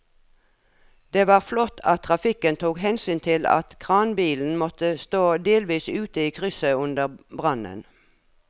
Det var flott at trafikken tok hensyn til at kranbilen måtte stå delvis ute i krysset under brannen.